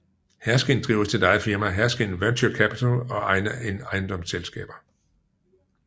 Herskind driver sit eget firma Herskind Venture Capital og egne ejendomsselskaber